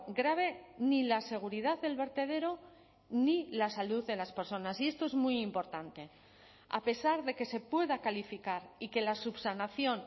grave ni la seguridad del vertedero ni la salud de las personas y esto es muy importante a pesar de que se pueda calificar y que la subsanación